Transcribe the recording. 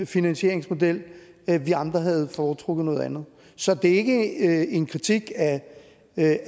finansieringsmodel vi andre havde foretrukket noget andet så det er ikke en kritik af